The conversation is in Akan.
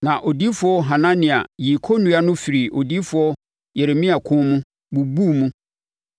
Na odiyifoɔ Hanania yii kɔnnua no firii odiyifoɔ Yeremia kɔn mu, bubuu mu,